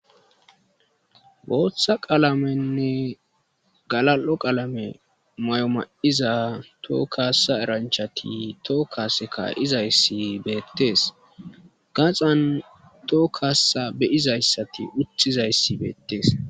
Booththa qalamenne galal7o qalame may7o ma7iza toho kaassa eranchchathi toho kaasse kaa7izayssi beeththees; gaxan toho kaassa be7izayssathi uththizayssi beettees.